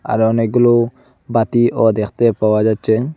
আরো অনেকগুলো বাতিও দেখতে পাওয়া যাচ্ছে।